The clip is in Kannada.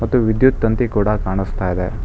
ಮತ್ತು ವಿದ್ಯುತ್ ತಂತಿ ಕೂಡ ಕಾಣಸ್ತಾಇದೆ.